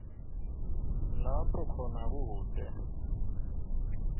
lapho khona kute